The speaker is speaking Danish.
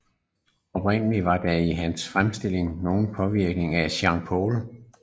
Oprindelig var der i hans fremstilling nogen påvirkning af Jean Paul